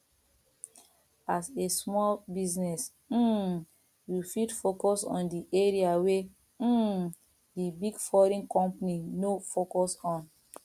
as a small business um you fit focus on di area wey um di big foreign company no focus on